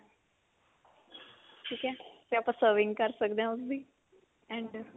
ਠੀਕ ਆ ਤੇ ਆਪਾਂ serving ਕਰ ਸਕਦੇ ਹਾਂ ਉਸਦੀ and